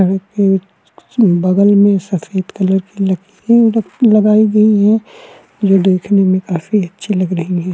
सड़क के बगल में एक सफ़ेद कलर की लकड़ी लगाई गई है जो देखने में काफी अच्छी लग रही है।